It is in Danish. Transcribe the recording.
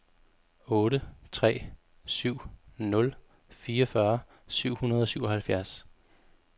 otte tre syv nul fireogfyrre syv hundrede og syvoghalvfjerds